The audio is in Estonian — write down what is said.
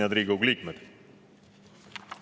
Head Riigikogu liikmed!